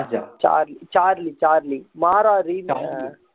Charlie Charlie Charlie Maara remake